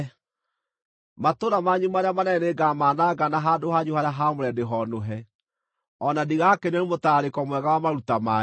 Matũũra manyu marĩa manene nĩngamananga na handũ hanyu harĩa haamũre ndĩhoonũhe, o na ndigakenio nĩ mũtararĩko mwega wa maruta manyu.